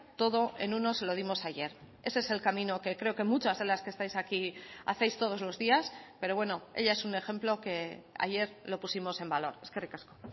todo en uno se lo dimos ayer ese es el camino que creo que muchas de las que estáis aquí hacéis todos los días pero bueno ella es un ejemplo que ayer lo pusimos en valor eskerrik asko